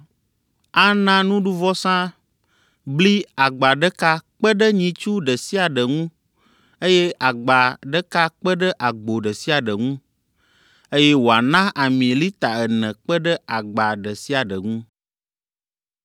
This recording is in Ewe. Ana nuɖuvɔsa bli agba ɖeka kpe ɖe nyitsu ɖe sia ɖe ŋu eye agba ɖeka kpe ɖe agbo ɖe sia ɖe ŋu, eye wòana ami lita ene kpe ɖe agba ɖe sia ɖe ŋu.